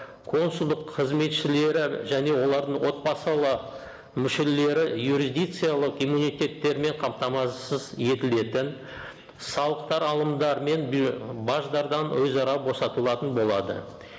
консулдық қызметшілері және олардың отбасылы мүшелері юрисдикциялық иммунитеттермен қамтамасыз етілетін салықтар алымдары мен баждардан өзара босатылатын болады